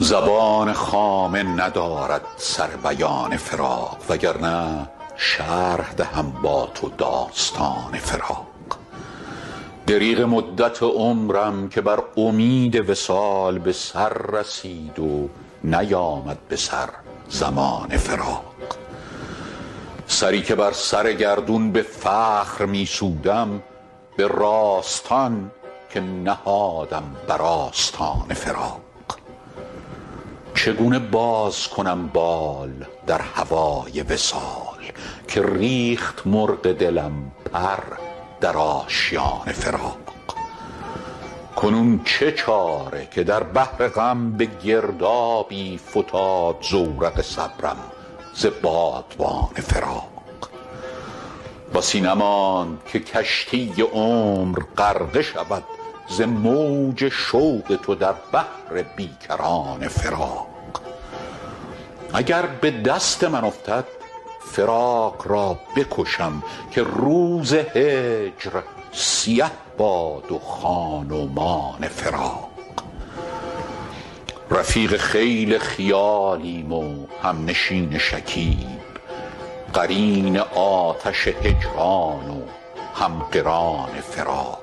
زبان خامه ندارد سر بیان فراق وگرنه شرح دهم با تو داستان فراق دریغ مدت عمرم که بر امید وصال به سر رسید و نیامد به سر زمان فراق سری که بر سر گردون به فخر می سودم به راستان که نهادم بر آستان فراق چگونه باز کنم بال در هوای وصال که ریخت مرغ دلم پر در آشیان فراق کنون چه چاره که در بحر غم به گردابی فتاد زورق صبرم ز بادبان فراق بسی نماند که کشتی عمر غرقه شود ز موج شوق تو در بحر بی کران فراق اگر به دست من افتد فراق را بکشم که روز هجر سیه باد و خان و مان فراق رفیق خیل خیالیم و همنشین شکیب قرین آتش هجران و هم قران فراق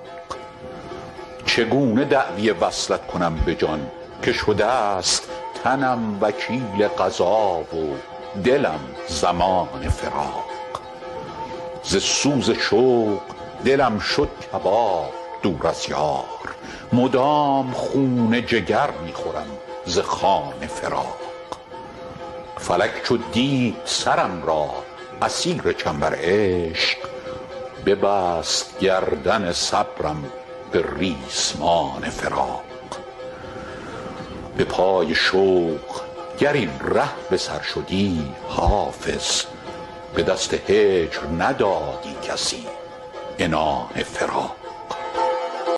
چگونه دعوی وصلت کنم به جان که شده ست تنم وکیل قضا و دلم ضمان فراق ز سوز شوق دلم شد کباب دور از یار مدام خون جگر می خورم ز خوان فراق فلک چو دید سرم را اسیر چنبر عشق ببست گردن صبرم به ریسمان فراق به پای شوق گر این ره به سر شدی حافظ به دست هجر ندادی کسی عنان فراق